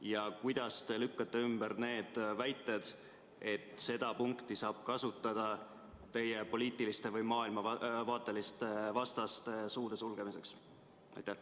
Ja kuidas te lükkate ümber need väited, et seda punkti saab kasutada teie poliitiliste või maailmavaateliste vastaste suu sulgemiseks?